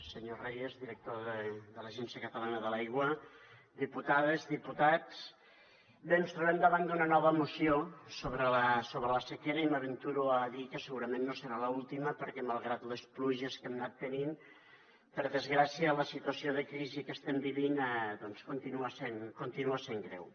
senyor reyes director de l’agència catalana de l’aigua diputades diputats bé ens trobem davant d’una nova moció sobre la sequera i m’aventuro a dir que segurament no serà l’última perquè malgrat les pluges que hem anat tenint per desgràcia la situació de crisi que estem vivint doncs continua sent greu